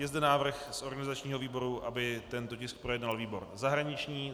Je zde návrh z organizačního výboru, aby tento tisk projednal výbor zahraniční.